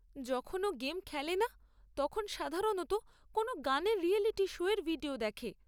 যখন ও গেম খেলে না তখন সাধারণত কোন গানের রিয়্যালিটি শোয়ের ভিডিও দেখে।